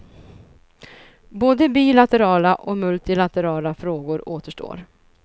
Både bilaterala och multilaterala frågor återstår.